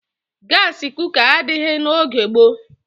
Gasị kuka adịghị n'oge gboo.